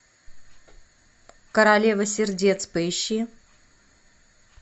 королева сердец поищи